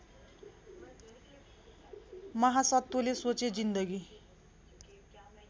महासत्वले सोचे जिन्दगी